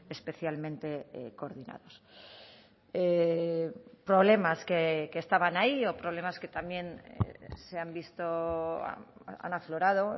especialmente coordinados problemas que estaban ahí o problemas que también se han visto han aflorado